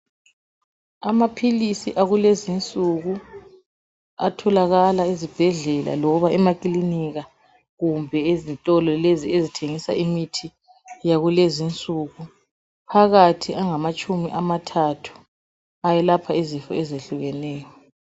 Amaphilisi akulezi insuku atholakala ezibhedlela loba emakilinika kumbe ezitolo lezi ezithengisa imithi yakulezi insuku, phakathi angamatshumi amathathu. Ayelapha izifo ezehlukeneyo.